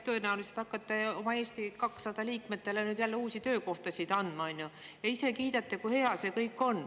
Tõenäoliselt hakkate oma Eesti 200 liikmetele nüüd jälle uusi töökohtasid andma, ja ise kiidate, kui hea see kõik on.